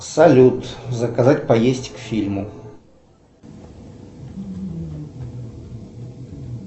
салют заказать поесть к фильму